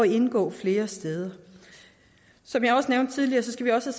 indgå flere steder som jeg har nævnt tidligere skal vi også